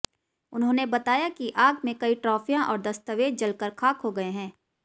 उन्होंने बताया कि आग में कई ट्राफियां और दस्तावेज जलकर खाक हो गये हैं